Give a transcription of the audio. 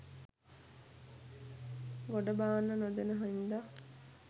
ගොඩ බාන්න නොදෙන හින්දා